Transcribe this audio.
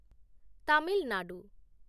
Tamil Nadu